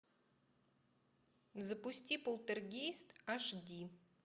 запусти полтергейст аш ди